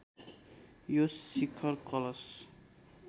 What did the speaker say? यो शिखर कलश